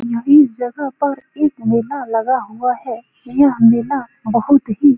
यही जगह पर एक मेला लगा हुआ है यह मेला बहुत ही --